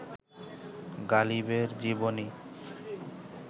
গালিবের জীবনী